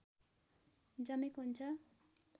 जमेको हुन्छ